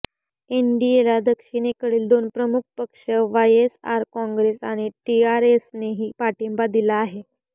एनडीएला दक्षिणेकडील दोन प्रमुख पक्ष वायएसआर काँग्रेस आणि टीआरएसनेही पाठिंबा दिला आहे